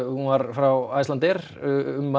hún var frá Icelandair um